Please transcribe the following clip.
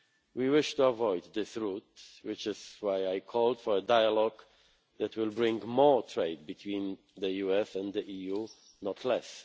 We wish to avoid this route, which is why I called for a dialogue that will bring more trade between the US and the EU, not